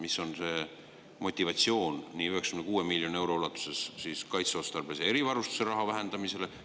Mis on see motivatsioon, et 96 miljoni euro ulatuses kaitseotstarbelisele erivarustusele minevat raha vähendada?